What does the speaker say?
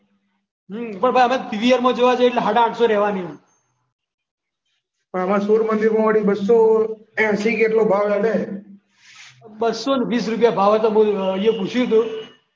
પણ ભાઈ અમે પીવીઆર માં જોવા ગયા હતા એટલે રેવાની પણ અમારે તો સોમનગર વાળી કે એટલો ભાવ લેશે રૂપિયા ભાવ હતો બોલ અહીંયા મેં પૂછ્યું હતું